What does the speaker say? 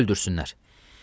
Qoy öldürsünlər.